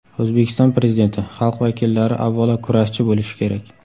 O‘zbekiston Prezidenti: Xalq vakillari avvalo kurashchi bo‘lishi kerak.